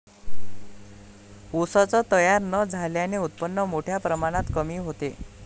ऊसच तयार न झाल्याने उत्पन्न मोठ्या प्रमाणात कमी होते.